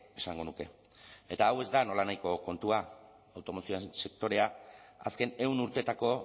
esango nuke eta hau ez da nolanahiko kontua automozio sektorea azken ehun urteetako